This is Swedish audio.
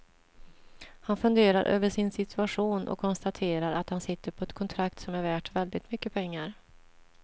Han funderar över sin situation och konstaterar att han sitter på ett kontrakt som är värt väldigt mycket pengar.